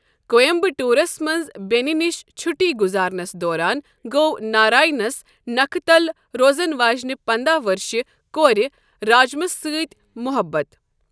کویمبٹورس منٛز بینہِ نِش چھُٹی گُزارنس دوران ، گو ناراینس نکھہٕ تل روزن واجِنہِ پنٛداہ ؤرشہِ کورِ راجمس سۭتۍ محبت۔